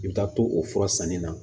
I bɛ taa to o fura sanni na